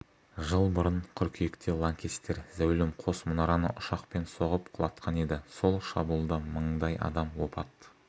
жыл бұрын қыркүйекте лаңкестер зәулім қос мұнараны ұшақпен соғып құлатқан еді сол шабуылда мыңдай адам опат